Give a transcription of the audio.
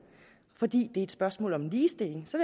fordi det er et spørgsmål om ligestilling så